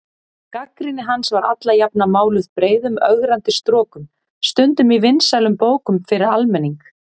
Gagnrýni hans var alla jafna máluð breiðum ögrandi strokum, stundum í vinsælum bókum fyrir almenning.